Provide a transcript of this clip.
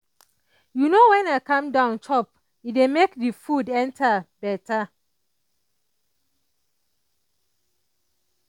you know when i calm down chop e dey make the food enter better.